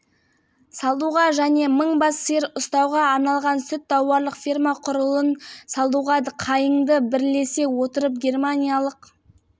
сондай-ақ ол жамбыл ауданында ирандық компаниясымен құны миллиард теңге болатын және жұмыс орнын ашатын қуаты мың тонна ет өңдеу зауытының құрылысы